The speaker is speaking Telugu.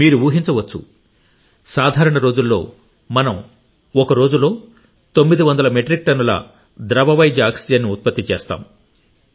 మీరు ఊహించవచ్చు సాధారణ రోజుల్లో మనం ఒక రోజులో 900 మెట్రిక్ టన్నుల ద్రవ వైద్య ఆక్సిజన్ను ఉత్పత్తి చేస్తాం